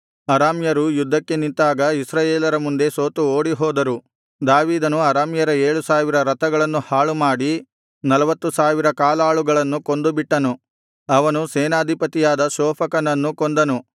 ಅರಾಮ್ಯರು ಯುದ್ಧಕ್ಕೆ ನಿಂತಾಗ ಇಸ್ರಾಯೇಲರ ಮುಂದೆ ಸೋತು ಓಡಿಹೋದರು ದಾವೀದನು ಅರಾಮ್ಯರ ಏಳುಸಾವಿರ ರಥಗಳನ್ನು ಹಾಳುಮಾಡಿ ನಲ್ವತ್ತು ಸಾವಿರ ಕಾಲಾಳುಗಳನ್ನು ಕೊಂದುಬಿಟ್ಟನು ಅವನು ಸೇನಾಧಿಪತಿಯಾದ ಶೋಫಕನನ್ನೂ ಕೊಂದನು